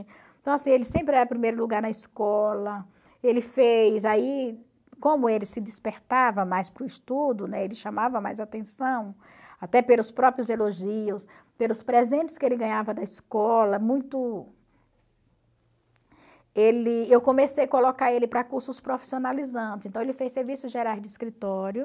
Então, assim, ele sempre era o primeiro lugar na escola, ele fez aí, como ele se despertava mais para o estudo, né, ele chamava mais atenção, até pelos próprios elogios, pelos presentes que ele ganhava da escola, muito... Ele eu comecei a colocar ele para cursos profissionalizantes, então ele fez serviço geral de escritório,